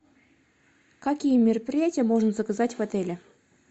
какие мероприятия можно заказать в отеле